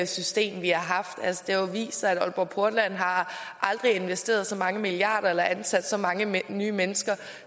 system vi har haft altså det har vist sig at aalborg portland aldrig har investeret så mange milliarder eller ansat så mange nye mennesker